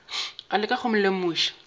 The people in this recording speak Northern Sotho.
a leka go mo lemoša